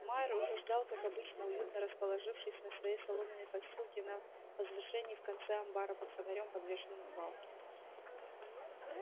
майер уже ждал как обычно уютно расположившись на своей соломенной постилке на возвышении в конце амбара под фонарём подвешенным к балке